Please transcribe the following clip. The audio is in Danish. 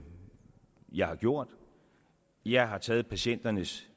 jeg har gjort jeg har taget patienternes